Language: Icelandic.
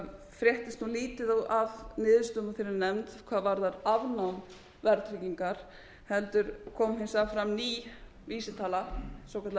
fréttist nú lítið af niðurstöðum úr þeirri nefnd hvað varðar afnám verðtryggingar heldur kom hins vegar fram ný vísitala svokölluð